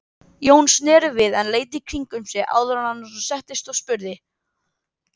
Jón sneri við en leit í kringum sig áður en hann settist og spurði